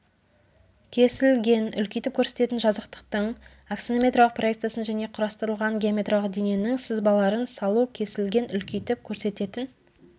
кесілген үлкейтіп көрсететін жазықтықтың аксонометриялық проекциясын және құрастырылған геометриялық дененің сызбаларын салу кесілген үлкейтіп көрсететін